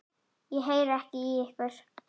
Ég heyri ekki í ykkur.